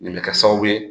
Nin bɛ kɛ sababu ye